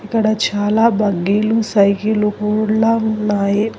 ఇక్కడ చాలా బగ్గీలు సైకిలు కూడ్ల ఉన్నాయి.